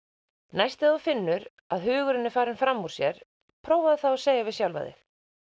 næst þegar þú finnur að hugurinn er farinn fram úr sér prófaðu þá að segja við sjálfan þig